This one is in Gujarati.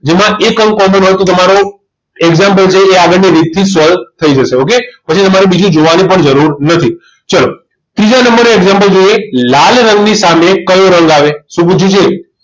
જેમાં એક અંક common હોય તો તમારો example છે એ આગળની રીતથી જ solve થઈ જાય જશે okay પછી તમારે બીજું જોવાની પણ જરૂર નથી ચલો ત્રીજા નંબરનું example જોઈએ લાલ રંગની સામે કયો રંગ આવે શું પૂછ્યું છે